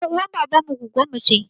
Ƴar uwar baban mu gwaggonmu ce